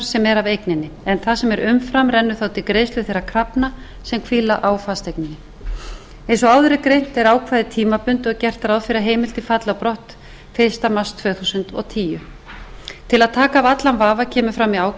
sem er af eigninni en það sem er umfram rennur þá til greiðslu þeirra krafna sem hvíla á fasteigninni eins og áður er greint er ákvæðið tímabundið og gert ráð fyrir að heimildin falli á brott fyrsta mars tvö þúsund og tíu til að taka af allan vafa kemur fram í